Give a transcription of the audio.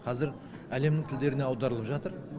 қазір әлемнің тілдеріне аударылып жатыр